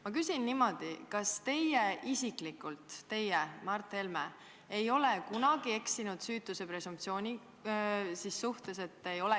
Ma küsin niimoodi: kas teie isiklikult, teie, Mart Helme, ei ole kunagi eksinud süütuse presumptsiooni vastu?